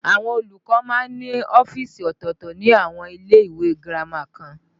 Àwọn olùkọ́ máa ń ní ọ́fíìsì ọ̀tọ̀ọ̀tọ̀ ní àwọn ilé ìwé girama kan